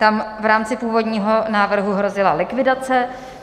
Tam v rámci původního návrhu hrozila likvidace.